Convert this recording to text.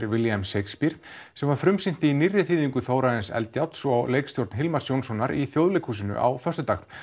William Shakespeare sem var frumsýnt í nýrri þýðingu Þórarins Eldjárns og leikstjórn Hilmars Jónssonar í Þjóðleikhúsinu á föstudag